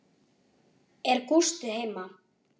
Er Gústi heima?